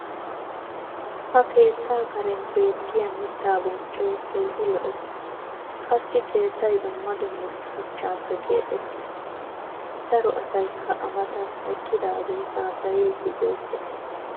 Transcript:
ha Keetta Karen beettiya mitaa bonccoy Keehi lo'ees. qassi Keettay dumma dumma Shuchchaappe kaxettis. daro asaykka a matan eqqidage haasayadi beetees.